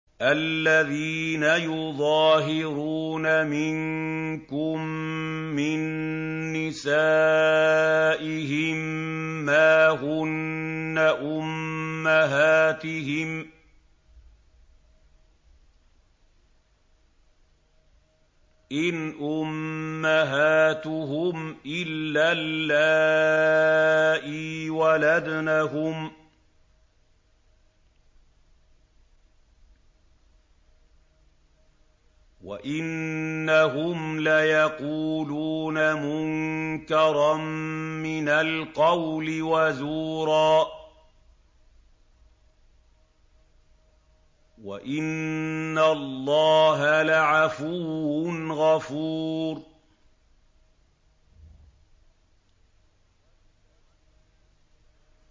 الَّذِينَ يُظَاهِرُونَ مِنكُم مِّن نِّسَائِهِم مَّا هُنَّ أُمَّهَاتِهِمْ ۖ إِنْ أُمَّهَاتُهُمْ إِلَّا اللَّائِي وَلَدْنَهُمْ ۚ وَإِنَّهُمْ لَيَقُولُونَ مُنكَرًا مِّنَ الْقَوْلِ وَزُورًا ۚ وَإِنَّ اللَّهَ لَعَفُوٌّ غَفُورٌ